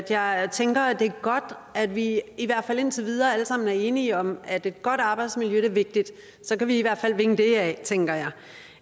jeg tænker at det er godt at vi i hvert fald indtil videre alle sammen er enige om at et godt arbejdsmiljø er vigtigt så kan vi i hvert fald vinge det af tænker jeg